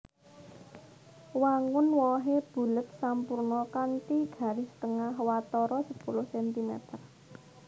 Wangun wohé bulet sampurna kanthi garis tengah watara sepuluh centimeter